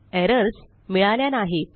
errors मिळाल्या नाहीत